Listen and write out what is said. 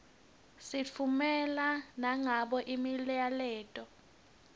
sitffumela nangabo imiyaleto